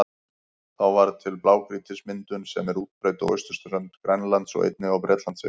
Þá varð til blágrýtismyndunin sem er útbreidd á austurströnd Grænlands og einnig á Bretlandseyjum.